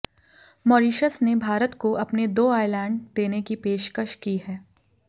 Mauritius ने भारतको अपने दो आइलैंड देने की पेशकश की है